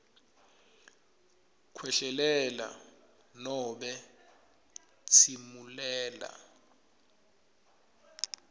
khwehlelela nobe tsimulela